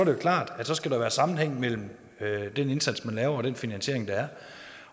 jo klart at der skal være en sammenhæng mellem den indsats man laver og den finansiering der er